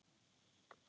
Ósköp er að sjá ykkur.